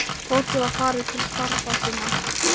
Fólkið var farið til starfa sinna.